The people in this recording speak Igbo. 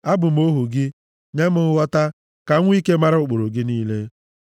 Abụ m ohu gị, nye m nghọta, ka m nwee ike mara ụkpụrụ gị niile.